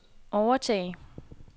overtage